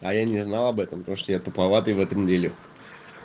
а я не знал об этом потому что я туповатый в этом деле